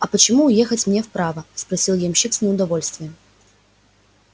а почему ехать мне вправо спросил ямщик с неудовольствием